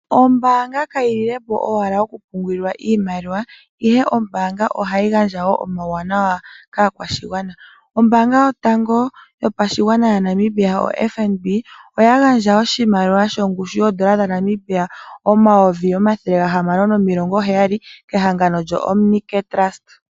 Ombaanga kayilile po owala okupungulilwa iimaliwa, ihe ombaanga ohayi gandja wo omawuwanawa kaakwashigwana. Ombaanga yotango yopashigwana yoFNB, oya gandja oshimaliwa shongushu yoondola dhaNamibia omayovi omathele gahamano nomilongo heyali, kehangano lyoOmnicare Trust.